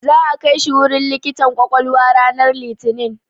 Za'a kai shi wurin likitan ƙwaƙwalwa ranar Litinin.